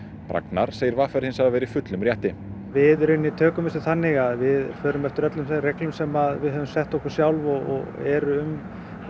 Ragnar segir v r hins vegar vera í fullum rétti við tökum þessu þannig að við förum eftir öllum þeim reglum sem við höfum sett okkur sjálf og eru um